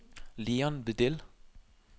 Leon Vedel